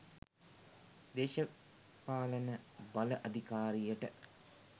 දේශපාලන බල අධිකාරියට